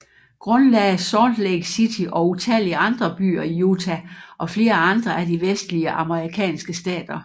Grundlagde Salt Lake City og utallige andre byer i Utah og flere andre af de vestlige amerikanske stater